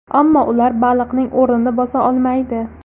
Ammo ular baliqning o‘rnini bosa olmaydi.